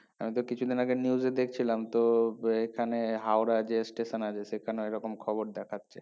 এইতো কিছুদিন আগে news এ দেখছিলাম তো এখানে হাওড়া যে station আছে সেখানেও এরকম খবর দেখাচ্ছে